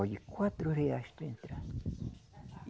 Olhe, quatro reais para entrar.